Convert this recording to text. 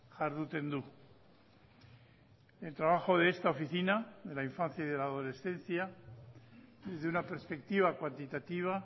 jarduten du el trabajo de esta oficina de la infancia y de la adolescencia desde una perspectiva cuantitativa